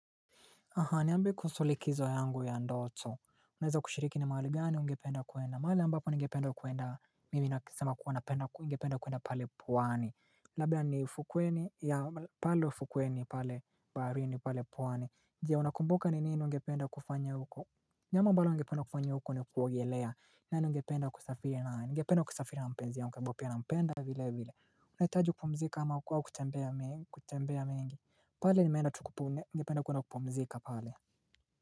Aha, niambie kusuhu likizo yangu ya ndoto. Unaweza kushiriki ni mahali gani ungependa kwenda? Mahali ambapo ningependa kwenda, mimi nasema kuwa napenda ningependa kwenda pale pwani. Labda ni ufukweni, ya pale ufukweni pale baharini pale pwani. Jia, unakumbuka ni nini ungependa kufanya huko? Jambo ambalo ningependa kufanya huko ni kuogelea. Nani ningependa kusafiri naye nigependa kusafiri na mpenzi ya yangu ambaye pia nampenda vile vile. Unahitaji kupumzika ama kwao kutembea mingi.kutembea mengi pale nimeenda tu kupume ningependa kwenda kupumzika pale.